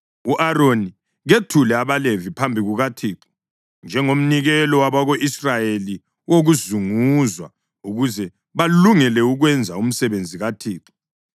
U-Aroni kethule abaLevi phambi kukaThixo njengomnikelo wabako-Israyeli wokuzunguzwa, ukuze balungele ukwenza umsebenzi kaThixo.